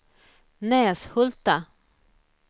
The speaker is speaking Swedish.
Näshulta